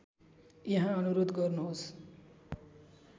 यहाँ अनुरोध गर्नुहोस्